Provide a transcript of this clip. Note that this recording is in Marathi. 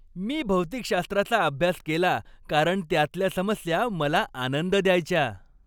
मी भौतिकशास्त्राचा अभ्यास केला कारण त्यातल्या समस्या मला आनंद द्यायच्या.